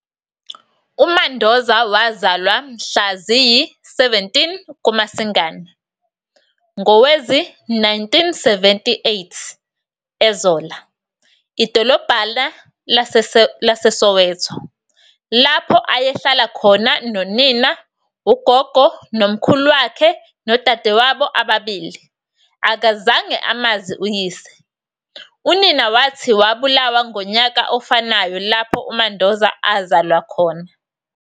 UMandoza wazalwa mhla ziyi-17 kuMasingane ngowezi-1978 eZola, idolobhana laseSoweto, lapho ayehlala khona nonina, ugogo nomkhulu wakhe nodadewabo ababili. Akazange amazi uyise, unina wathi wabulawa ngonyaka ofanayo lapho uMandoza azalwa khona.